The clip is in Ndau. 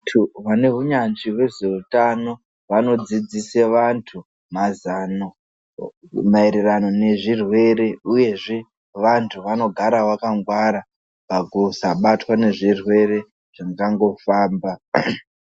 Vantu vane hunyanzvi hwezveutano vanodzidzise vantu mazano maererano nezvirwere, uyezve vantu vanogara vakangwara pakusabatwa nezvirwere zvingangofamba.